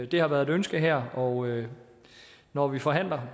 det har været et ønske her og når vi forhandler